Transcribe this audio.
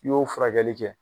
I y'o furakɛli kɛ